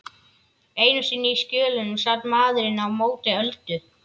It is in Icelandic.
Einu sinni í Skjólunum sat maðurinn á móti Öldu.